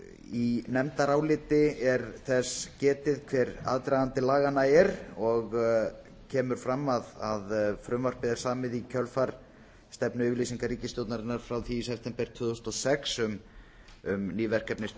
í nefndaráliti er þess getið hver aðdragandi laganna er og kemur fram að frumvarpið er samið í kjölfar stefnuyfirlýsingar ríkisstjórnarinnar frá því í september tvö þúsund og sex um ný verkefni